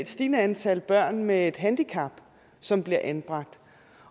stigende antal børn med et handicap som bliver anbragt